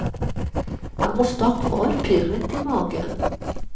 Man måste ha kvar pirret i magen.